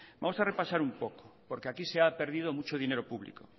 vamos a repasar un poco porque aquí se ha perdido muchos dinero público